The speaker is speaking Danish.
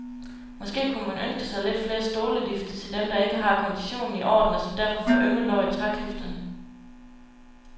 Måske kunne man ønske sig lidt flere stolelifte til dem, der ikke har konditionen i orden og som derfor får ømme lår i trækliftene.